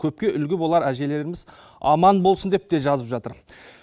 көпке үлгі болар әжелеріміз аман болсын деп те жазып жатыр